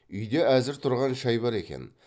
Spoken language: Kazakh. үйде әзір тұрған шай бар екен